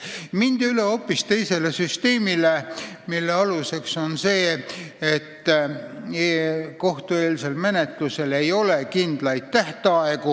Uues seadustikus mindi üle hoopis teisele süsteemile, mille aluseks on see, et kohtueelses menetluses ei ole kindlaid tähtaegu.